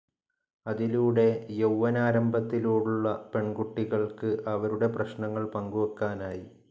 അതിലൂടെ യൌവ്വനാരംഭത്തിലുള്ള പെൺകുട്ടികൾക്ക് അവരുടെ പ്രശ്നങ്ങൾ പങ്കുവെക്കാനായി.